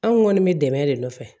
Anw kɔni bɛ dɛmɛ de nɔfɛ